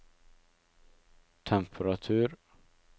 temperatur